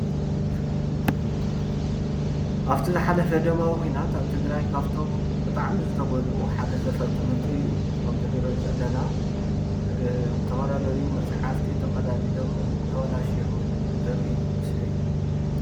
ኣብቲ ዝሓለፈ ደማዊ ኩናት ኣብ ትግራይ ካብቶም ብጣዕሚ ዝተጎድኡ ሓደ ዘፈር ትምህርቲ እዩ፣ ከምዚ እንሪኦ ዘለና ዝተፈላለዩ መፅሓፍቲ ተቀዳዲዶም ተበላሽዮምን ዘርኢ ምስሊ እዩ፡፡